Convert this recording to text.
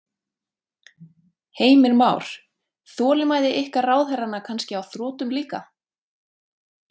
Heimir Már: Þolinmæði ykkar ráðherranna kannski á þrotum líka?